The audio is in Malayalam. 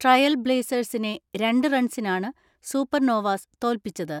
ട്രയൽ ബ്ലേസേഴ്സിനെ രണ്ട് റൺസിനാണ് സൂപ്പർനോവാസ് തോൽപ്പിചത്.